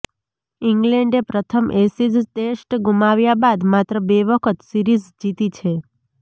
ઇંગ્લેન્ડે પ્રથમ Ashes test ગુમાવ્યા બાદ માત્ર બે વખત સિરીઝ જીતી છે